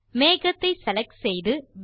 மேகத்தை செலக்ட் செய்து